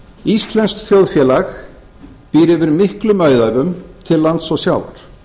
íslenskt þjóðfélag býr yfir miklum auðæfum til lands og sjávar